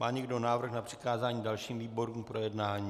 Má někdo návrh na přikázání dalším výborům k projednání?